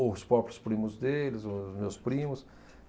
Ou os próprios primos deles, ou os meus primos.